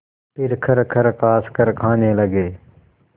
फिर खरखर खाँसकर खाने लगे